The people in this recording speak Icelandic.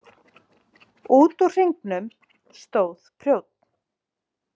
Út úr hringnum stóð prjónn.